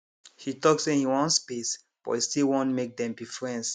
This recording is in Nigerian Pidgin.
he talk say him wan space but he still want make them be friends